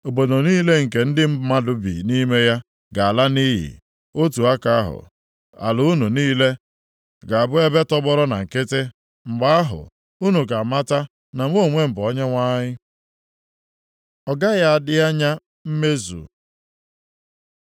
Obodo niile nke ndị mmadụ bi nʼime ya ga-ala nʼiyi, otu aka ahụ, ala unu niile ga-abụ ebe tọgbọrọ na nkịtị. Mgbe ahụ, unu ga-amata na mụ onwe bụ Onyenwe anyị.’ ” Ọ gaghị adị anya mmezu